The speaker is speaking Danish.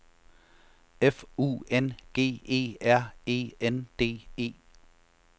F U N G E R E N D E